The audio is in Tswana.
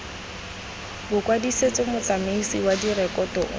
bokwadisetso motsamaisi wa direkoto o